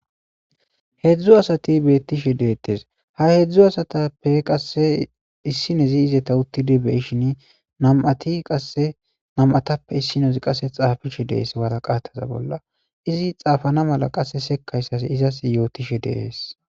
Heedzdzu asati beettishe deettes ha hedzdzu asatappe qasse issinezi izeta uttidi beyishin nam7ati qase nam7atappe issinez qasse xaafishe deees wara qataza bolla izi xaafana mala qasse sekayssas izas yootishe deees.